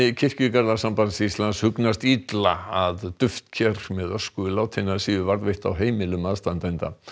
kirkjugarðasambands Íslands hugnast illa að duftker með ösku látinna séu varðveitt á heimilum aðstandenda